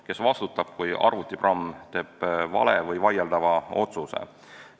Kes vastutab, kui arvutiprogramm teeb vale või vaieldava otsuse?